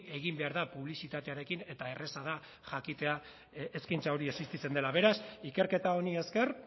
egin behar da publizitatearekin eta erraza da jakitea eskaintza hori existitzen dela beraz ikerketa honi ezker